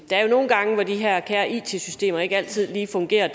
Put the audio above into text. der er jo nogle gange hvor de her kære it systemer ikke altid lige fungerer